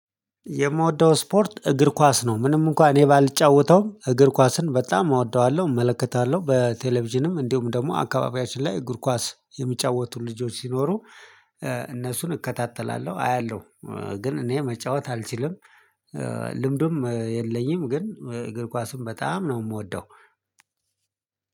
የምወደው ስፖርት እግር ኳስ ነው። ምንም እንኳን እኔ ባልጫወተውም እግር ኳስን በጣም እወደዋለሁ እመለከታለሁ በቴሌቪዥንም እንዲሁ ደግሞ አካባቢያችን ላይ እግር ኳስ የሚጫወቱ ልጆች ሲኖሩ እነሱን እከታተላለሁ አያለሁ። ግን እኔ መጫወት አልችልም። ልምዱም የለኝም ግን እግር ኳሱን በጣም ነው የምወደው።